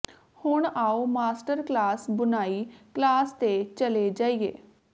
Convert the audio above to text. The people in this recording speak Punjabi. ਹੁਣ ਆਓ ਮਾਸਟਰ ਕਲਾਸ ਬੁਣਾਈ ਕਲਾਸ ਤੇ ਚਲੇ ਜਾਈਏ